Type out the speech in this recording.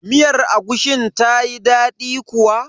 Miyar agushin tayi daɗi kuwa?